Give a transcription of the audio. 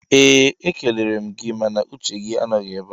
ee e kelere m gị mana uche gị anọghị ebe a